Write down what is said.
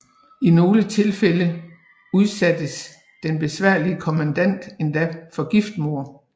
I nogle tilfælde udsattes den besværlige kommandant endda for giftmord